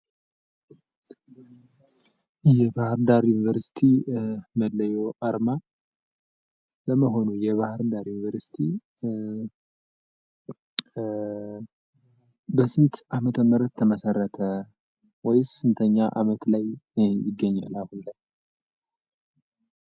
የባህርዳር ዩንቨርስቲ መላያ አርማ ፣ ለመሆኑ የባህርዳር ዩንቨርስቲ በስንት አመተ ምህረት ተመሰረተ ወይም ስንት አመት ላይ ይገኛል አሁን ላይ?